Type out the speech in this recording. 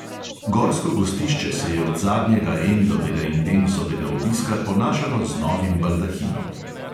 Gorsko gostišče se je od zadnjega emilovega in denisovega obiska ponašalo z novim baldahinom.